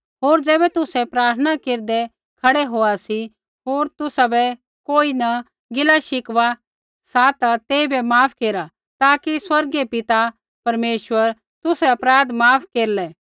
होर ज़ैबै तुसै प्रार्थना केरदै खड़ै होआ सी होर तुसाबै कोई न किछ़ गिलाशिकवा सा ता तेइबै माफ केरा ताकि स्वर्गीय पिता परमेश्वर तुसरै अपराध माफ केरलै